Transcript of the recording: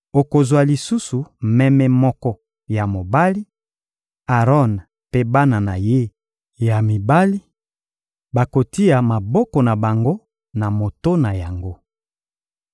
Okozwa lisusu meme moko ya mobali; Aron mpe bana na ye ya mibali bakotia maboko na bango na moto na yango.